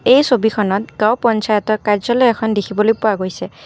এই ছবিখনত গাওঁ পঞ্চায়তৰ কাৰ্য্যালয় এখন দেখিবলৈ পোৱা গৈছে।